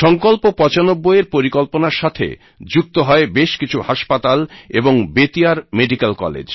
সঙ্কল্পঃ ৯৫ এর পরিকল্পনার সাথে যুক্ত হয় বেশ কিছু হাসপাতাল এবং বেতিয়ার মেডিকেল কলেজ